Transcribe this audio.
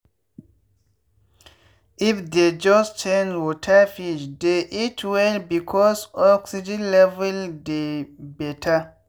if dey just change waterfish dey eat well because oxgen level dey better.